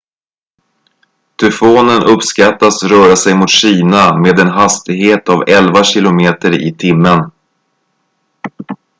tyfonen uppskattas röra sig mot kina med en hastighet av elva kilometer i timmen